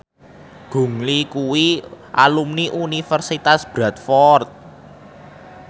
Gong Li kuwi alumni Universitas Bradford